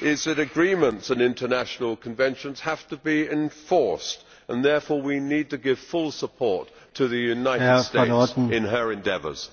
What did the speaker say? is that agreements and international conventions have to be enforced, and therefore we need to give full support to the United States in her endeavours.